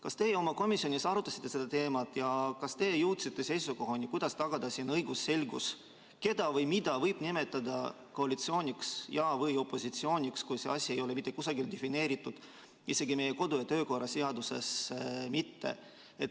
Kas teie oma komisjonis arutasite seda teemat ja kas te jõudsite seisukohani, kuidas tagada siin õigusselgus, keda või mida võib nimetada koalitsiooniks või opositsiooniks, kui see asi ei ole mitte kusagil defineeritud, isegi meie kodu- ja töökorra seaduses mitte?